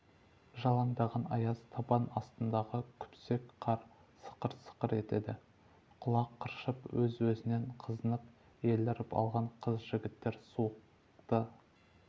жалаңдаған аяз табан астындағы күпсек қар сықыр-сықыр етеді құлақ қыршып өз-өзінен қызынып еліріп алған қыз-жігіттер суықты